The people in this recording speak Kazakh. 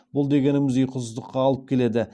бұл дегеніңіз ұйқысыздыққа алып келеді